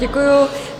Děkuju.